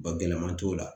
Ba gɛlɛman t'o la